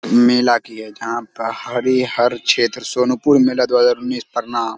मेला की है जहां हरि हर क्षेत्र सोनपुर मेला दु हजार उन्नीस प्रणाम।